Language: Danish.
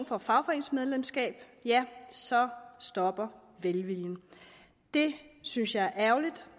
for fagforeningsmedlemskab ja så stopper velviljen det synes jeg er ærgerligt